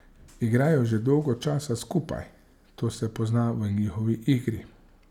Igrajo že dolgo časa skupaj, to se pozna v njihovi igri.